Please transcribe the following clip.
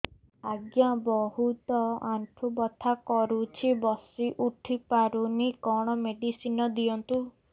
ଆଜ୍ଞା ବହୁତ ଆଣ୍ଠୁ ବଥା କରୁଛି ବସି ଉଠି ପାରୁନି କଣ ମେଡ଼ିସିନ ଦିଅନ୍ତୁ